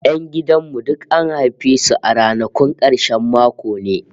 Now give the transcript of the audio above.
Yan gidan mu duk an haife su a ranakun karshen mako ne!